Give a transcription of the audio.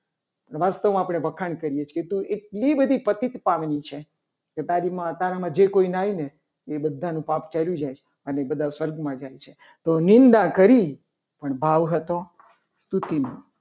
વાસ્તવમાં આપણે વખાણ કરીએ છીએ. તો એટલી બધી પ્રતિકતા બની છે. કે તારી માં તારામાં જે કોઈ નાઈ ને એ બધાનું પાપ ચાલી જાય છે. અને બધા સ્વર્ગમાં જાય છે. તો નિંદા કરી પણ ભાવ હતો. સ્તુતિનો